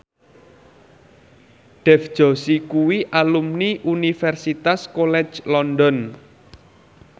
Dev Joshi kuwi alumni Universitas College London